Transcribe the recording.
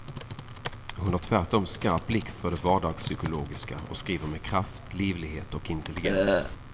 Hon har tvärtom skarp blick för det vardagspsykologiska och skriver med kraft, livlighet och intelligens.